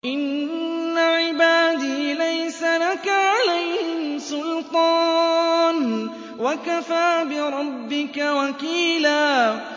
إِنَّ عِبَادِي لَيْسَ لَكَ عَلَيْهِمْ سُلْطَانٌ ۚ وَكَفَىٰ بِرَبِّكَ وَكِيلًا